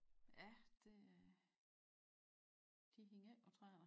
Ja det de hænger ikke å træerne